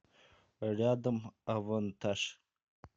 рядом авантаж